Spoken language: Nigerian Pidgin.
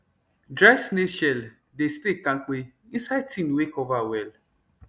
dry snail shell dey stay kampe inside tin wey cover well